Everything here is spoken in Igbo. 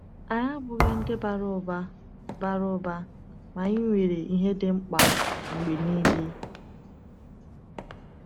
Anyị abụghị ndị bara ụba, bara ụba, ma anyị nwere ihe dị mkpa mgbe niile.